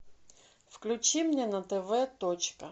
включи мне на тв точка